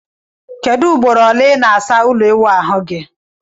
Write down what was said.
Kedu ugboro ole i na asa ulo iwuahu gi?